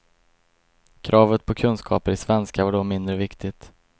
Kravet på kunskaper i svenska var då mindre viktigt.